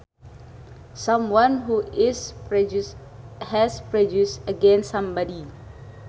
Someone who is prejudiced has prejudice against somebody